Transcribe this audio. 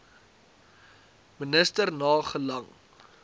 minister na gelang